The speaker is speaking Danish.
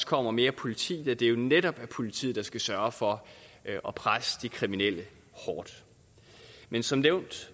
kommer mere politi da det jo netop er politiet der skal sørge for at presse de kriminelle hårdt men som nævnt